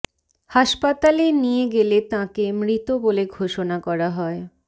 হাসপাতালে নিয়ে গেলে তাঁকে মৃত বলে ঘোষনা করা হয়